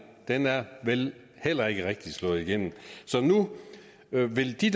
vel heller ikke rigtig er slået igennem så nu vil de